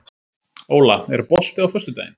Óla, er bolti á föstudaginn?